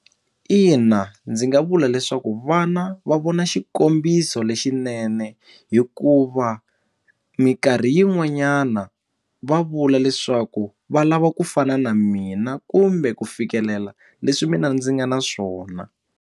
Ina, ndzi nga vula leswaku vana va vona xikombiso lexinene hikuva minkarhi yin'wanyana va vula leswaku va lava ku fana na mina kumbe ku fikelela leswi mina ndzi nga na swona.